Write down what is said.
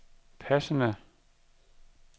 passende